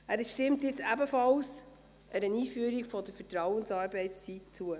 Er stimmt jetzt ebenfalls einer Einführung der Vertrauensarbeitszeit zu.